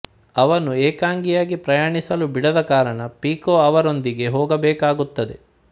ಅವನು ಏಕಾಂಗಿಯಾಗಿ ಪ್ರಯಾಣಿಸಲು ಬಿಡದ ಕಾರಣ ಪೀಕೂ ಅವನೊಂದಿಗೆ ಹೋಗಬೇಕಾಗುತ್ತದೆ